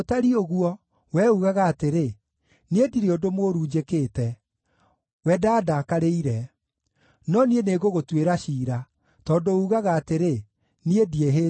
wee uugaga atĩrĩ, ‘Niĩ ndirĩ ũndũ mũũru njĩkĩte; we ndandaakarĩire.’ No niĩ nĩngũgũtuĩra ciira, tondũ uugaga atĩrĩ, ‘Niĩ ndiĩhĩtie.’